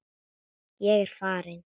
Ég er farinn!